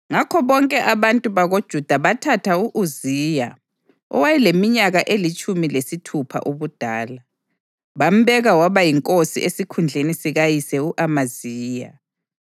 Ngakho bonke abantu bakoJuda bathatha u-Uziya, owayeleminyaka elitshumi lesithupha ubudala, bambeka waba yinkosi esikhundleni sikayise u-Amaziya.